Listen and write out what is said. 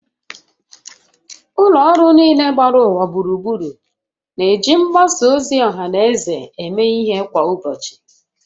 Ụlọ ọrụ niile gbara ụwa gburugburu na-eji mgbasa ozi ọha na eze eme ihe kwa ụbọchị